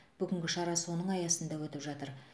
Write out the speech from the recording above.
бүгінгі шара соның аясында өтіп жатыр